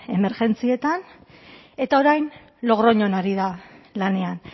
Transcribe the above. emergentzietan eta orain logroñon ari da lanean